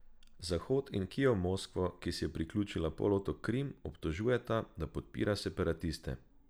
Zahod in Kijev Moskvo, ki si je priključila polotok Krim, obtožujeta, da podpira separatiste.